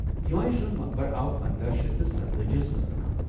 ہمایوں سُنٛد مقبرٕ آو پندہ شیتھ تہٕ سَتتأجی ہَس منٛز بناونہٕ